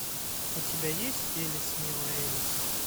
у тебя есть элис милая элис